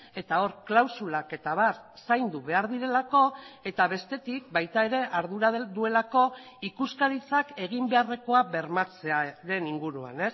eta hor klausulak eta abar zaindu behar direlako eta bestetik baita ere ardura duelako ikuskaritzak egin beharrekoa bermatzearen inguruan